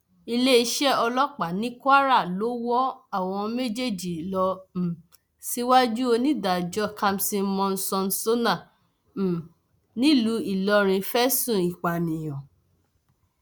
iléeṣẹ ọlọpàá ní kwara ló wọ àwọn méjèèjì lọ um síwájú onídàájọ kamson monsónsónà um nílùú ìlọrin fẹsùn ìpànìyàn